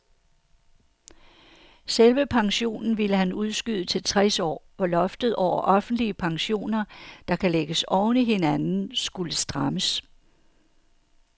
Selve pensionen ville han udskyde til tres år, hvor loftet over offentlige pensioner, der kan lægges oven i hinanden, skulle strammes.